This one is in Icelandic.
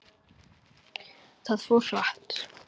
Það fór hratt.